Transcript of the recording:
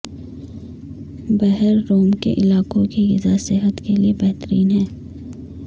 بحیرروم کے علاقوں کی غذا صحت کیلئے بہترین ہے